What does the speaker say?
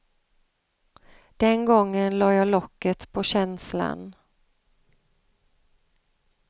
Den gången lade jag locket på känslan.